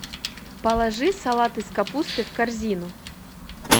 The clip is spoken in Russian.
положи салат из капусты в корзину